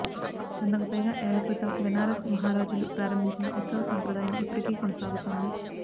వందకు పైగా ఏళ్ళ క్రితం బెనారస్ మహారాజులు ప్రారంభించిన ఉత్సవ సాంప్రదాయం ఇప్పటికీ కొనసాగుతోంది